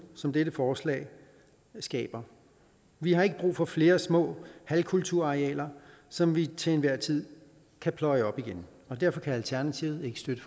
som dette forslag skaber vi har ikke brug for flere små halvkulturarealer som vi til enhver tid kan pløje op igen derfor kan alternativet ikke støtte